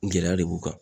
Gɛlɛya de b'u kan